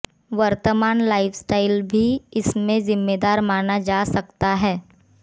वर्तमान लाइफस्टाइल भी इसमें जिम्मेदार माना जा सकता है